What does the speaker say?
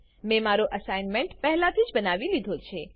મેં મારો assignment assignment પહેલાથી જ બનાવી લીધો છે